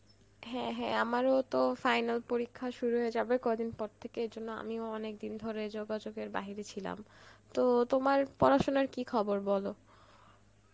হ্যাঁ হ্যাঁ আমারও তো final পরীক্ষা শুরু হয়ে যাবে কদিন পর থেকে ওই জন্য আমিও অনেক দিন ধরে যোগাযোগ এর বাইরে ছিলাম, তো তোমার পড়াশোনার কি খবর বলো?